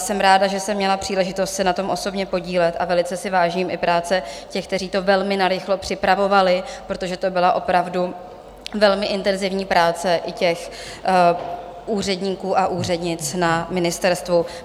Jsem ráda, že jsem měla příležitost se na tom osobně podílet, a velice si vážím i práce těch, kteří to velmi narychlo připravovali, protože to byla opravdu velmi intenzivní práce i těch úředníků a úřednic na ministerstvu.